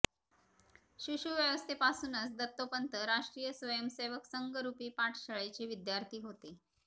शिशुवस्थेपासूनच दत्तोपंत राष्ट्रीय स्वयंसेवक संघरूपी पाठशाळेचे विद्यार्थी होते